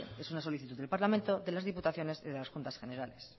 es una solicitud del parlamento de las diputaciones y de las juntas generales